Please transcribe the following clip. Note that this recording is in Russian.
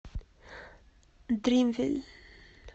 дримвиль